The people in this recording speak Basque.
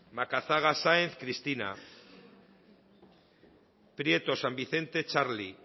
macazaga sáenz cristina prieto san vicente txarli